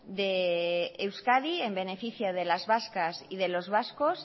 de euskadi en beneficio de las vascas y los vascos